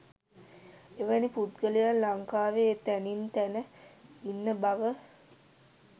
එවැනි පුද්ගලයන් ලංකාවේ තැනින් තැන ඉන්න බව